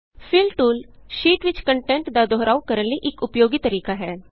fill tool sheet ਵਿਚ content ਦਾ ਦੋਹਰਾਉ ਕਰਨ ਲਈ ਇਕ ਉਪਯੋਗੀ ਤਰੀਕਾ ਹੈ